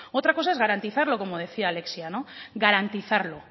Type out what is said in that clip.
otra cosa es garantizarlo como decía alexia garantizarlo